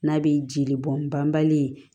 N'a bɛ jeli bɔn banbali ye